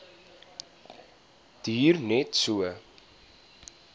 duur net so